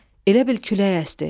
Elə bil külək əsdi.